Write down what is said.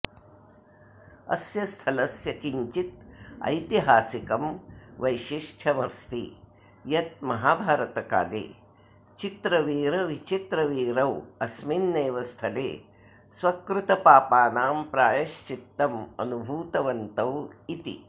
अस्य स्थलस्य किञ्चित् ऐतिहासिकं वैशिष्ट्यमस्ति यत् महाभारतकाले चित्रवीरविचित्रवीरौ अस्मिन्नेव स्थले स्वकृतपापानां प्रायश्चित्तम् अनुभूतवन्तौ इति